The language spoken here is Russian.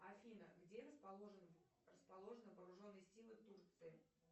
афина где расположен расположены вооруженные силы турции